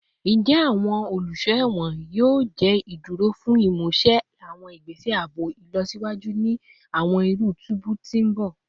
Njẹ awọn oluso ẹwọn yoo jẹ iduro fun imuse awọn igbese aabo ilọsiwaju ni awọn iru tubu ti n bọ?